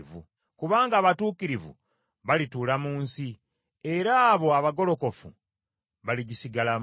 Kubanga abatuukirivu balituula mu nsi, era abo abagolokofu baligisigalamu.